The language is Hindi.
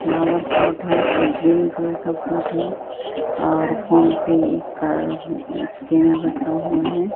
फ्लावर पॉट है एक ग्रीन कलर का पॉट है और फोन पे का स्कैनर रखा हुआ है।